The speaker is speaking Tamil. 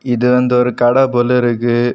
இது வந்து ஒரு கடை போல இருக்கு.